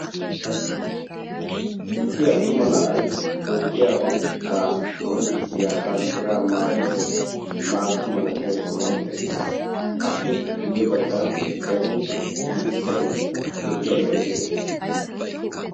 issi attuma na'ay toophiyaa oonatetta qonccissiya banddira maayyidi maata malatiya sohuwan eqqiis, appe guyye baggan dere mittay lo"iyaabay de'ees.